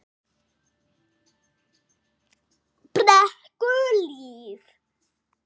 Brekkuhlíð